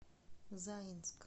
заинск